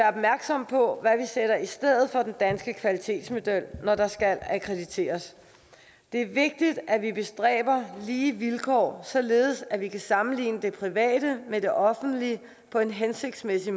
opmærksomme på hvad vi sætter i stedet for den danske kvalitetsmodel når der skal akkrediteres det er vigtigt at vi tilstræber at få lige vilkår således at vi kan sammenligne det private med det offentlige på en hensigtsmæssig